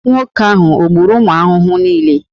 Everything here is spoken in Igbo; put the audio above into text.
Nwoke ahụ o gburu ụmụ ahụhụ niile?